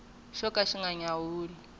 xo ka xi nga nyawuli